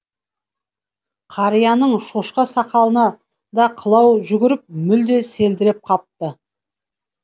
қарияның шошқа сақалына да қылау жүгіріп мүлде селдіреп қалыпты